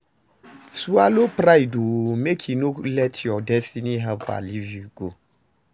Swallow pride o mek e no let yur destiny helper live you go